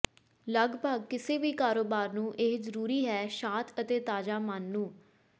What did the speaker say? ਲੱਗਭਗ ਕਿਸੇ ਵੀ ਕਾਰੋਬਾਰ ਨੂੰ ਇਹ ਜ਼ਰੂਰੀ ਹੈ ਸ਼ਾਤ ਅਤੇ ਤਾਜ਼ਾ ਮਨ ਨੂੰ